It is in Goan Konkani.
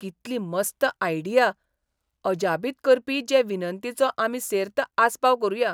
कितली मस्त आयडिया , अजापीत करपी जे विनंतीचो आमी सेर्त आस्पाव करूया.